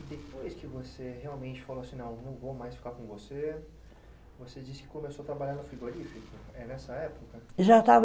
E depois que você realmente falou assim, não, não vou mais ficar com você, você disse que começou a trabalhar no frigorífico. É nessa época? Já estava